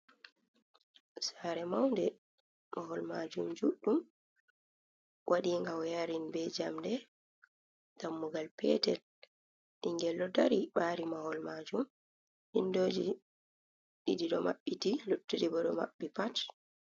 Sare maunde, mahol majum juɗɗum, waɗi nga wee'yarin be jamɗe dammugal petel ɓingel ɗo dari ɓari mahol majum, windoji ɗiɗi ɗo maɓɓiti lottuɗi bo ɗo maɓɓi pat.